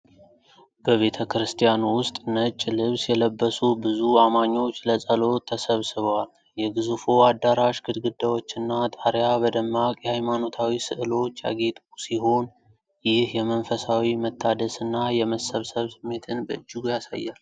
በቤተክርስቲያን ውስጥ ነጭ ልብስ የለበሱ ብዙ አማኞች ለጸሎት ተሰብስበዋል። የግዙፉ አዳራሽ ግድግዳዎችና ጣሪያ በደማቅ የሃይማኖታዊ ሥዕሎች ያጌጡ ሲሆን፣ ይህ የመንፈሳዊ መታደስና የመሰብሰብ ስሜትን በእጅጉ ያጎላል።